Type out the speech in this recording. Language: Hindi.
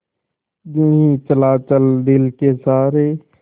यूँ ही चला चल दिल के सहारे